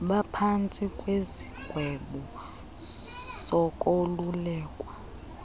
baphantsi kwesigwebo sokolulekwa